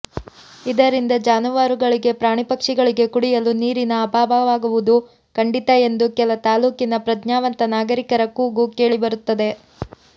ಇದರಿಂದ ಜಾನುವಾರಗಳಿಗೆ ಪ್ರಾಣಿ ಪಕ್ಷಿಗಳಿಗೆ ಕುಡಿಯಲು ನೀರಿನ ಅಭಾವವಾಗುವುದು ಕಂಡಿತ ಎಂದು ಕೆಲ ತಾಲೂಕಿನ ಪ್ರಜ್ಞಾವಂತ ನಾಗರಿಕರ ಕೂಗು ಕೇಳಿಬರುತ್ತದೆ